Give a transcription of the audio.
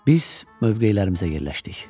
Biz mövqelərimizə yerləşdik.